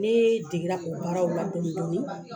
Ne degera o baaraw la dɔɔni dɔɔni